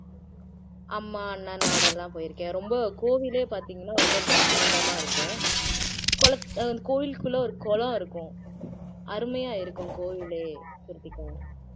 அம்மா அண்ணனோட எல்லாம் போயிருக்கேன் ரொம்ப கோவிலே பாத்தீங்கன்னா ரொம்ப பிரம்மாண்டமா இருக்கும் குள அஹ் கோயிலுக்குள்ள ஒரு குளம் இருக்கும் அருமையா இருக்கும் கோவிலே ஸ்ருதிகா